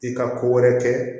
I ka ko wɛrɛ kɛ